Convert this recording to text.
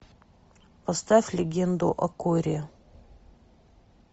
поставь легенду о корре